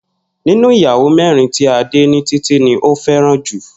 Nínú ìyàwó mé̩rin tí Adé, Títí ni ó fé̩ràn jù